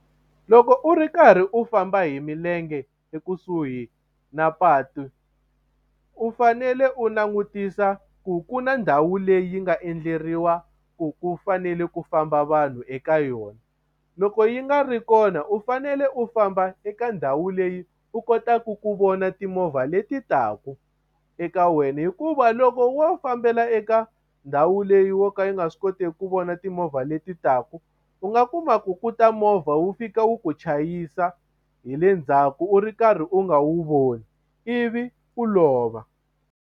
Loko u ri karhi u famba hi milenge ekusuhi na patu u fanele u langutisa ku ku na ndhawu leyi nga endleriwa ku ku fanele ku famba vanhu eka yona loko yi nga ri kona u fanele u famba eka ndhawu leyi u kotaka ku vona timovha leti taka eka wena hikuva loko wo fambela eka ndhawu leyi wa ka yi nga swi kotiki ku vona timovha leti taka u nga kuma ku ku ta movha wu fika wu ku chayisa hi le ndzhaku u ri karhi u nga wu voni ivi u lova.